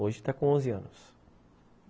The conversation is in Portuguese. Hoje está com onze anos.